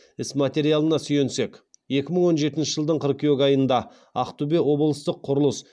іс материалына сүйенсек екі мың он жетінші жылдың қыркүйек айында ақтөбе облыстық құрылыс